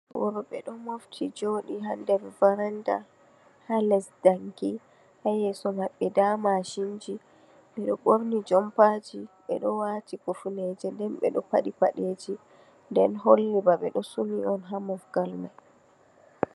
Worɓe ɗo mofti jooɗi ha nder varanda, ha les danki, ha yeso maɓɓe nda mashinji. Ɓe ɗo ɓorni jompaji, ɓe ɗo waati hifneje, nden ɓe ɗo paɗi paɗeeji, nden holli ba ɓe ɗo suni on ha mofgal mai.